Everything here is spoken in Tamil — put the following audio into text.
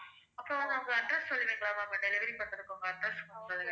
அப்புறம் உங்க address சொல்றீங்களா ma'am delivery பண்றதுக்கு உங்க address சொல்றீங்களா